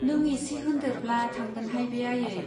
नों एसे होनदेरब्ला थांगोनहाय बे आयै।